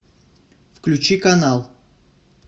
включи канал